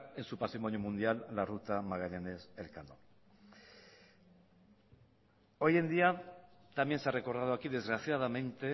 en su patrimonio mundial la ruta magallanes elcano hoy en día también se ha recordado aquí desgraciadamente